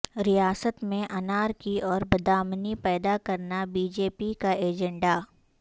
ریاست میں انارکی اور بدامنی پیدا کرنا بی جے پی کا ایجنڈا